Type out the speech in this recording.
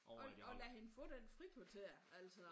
Og og lad hende få den frikvarter altså